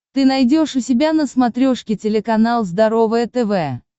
ты найдешь у себя на смотрешке телеканал здоровое тв